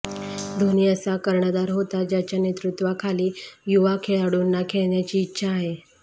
धोनी असा कर्णधार होता ज्याच्या नेतृत्वाखाली युवा खेळाडूंना खेळण्याची इच्छा आहे